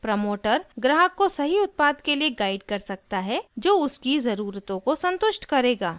promoter ग्राहक को सही उत्पाद के लिए गाइड कर सकता है जो उसकी ज़रूरतों को सन्तुष्ट करेगा